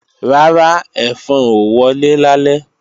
Rárá, ẹ̀fọn ò wọlé lálẹ́